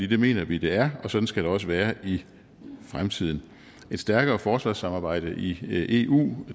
det mener vi det er og sådan skal det også være i fremtiden et stærkere forsvarssamarbejde i eu